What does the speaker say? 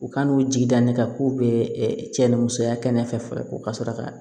U ka n'u jigi da ne kan k'u bɛ cɛ ni musoya kɛnɛ fɛ u ka sɔrɔ ka